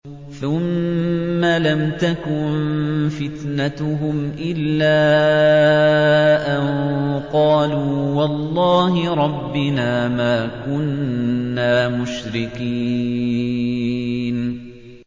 ثُمَّ لَمْ تَكُن فِتْنَتُهُمْ إِلَّا أَن قَالُوا وَاللَّهِ رَبِّنَا مَا كُنَّا مُشْرِكِينَ